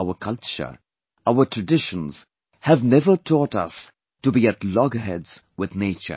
Our culture, our traditions have never taught us to be at loggerheads with nature